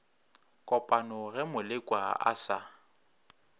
kopana ge molekwa a sa